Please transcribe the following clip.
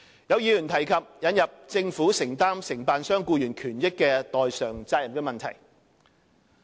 有議員提及引入政府承擔承辦商僱員權益的代償責任的問題。